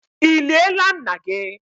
Ị liela nna gị?